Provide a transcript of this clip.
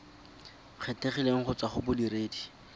kgethegileng go tswa go bodiredi